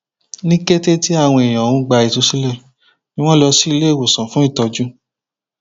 ní kété tí àwọn èèyàn ọhún gba ìtúsílẹ ni wọn kó wọn lọ sí ilé ìwòsàn fún ìtọjú